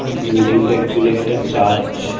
Building টা actually একটা church.